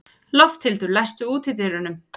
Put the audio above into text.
Lofthildur, læstu útidyrunum.